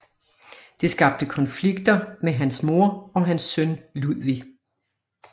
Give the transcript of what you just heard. Det skabte konflikter med hans mor og hans søn Ludvig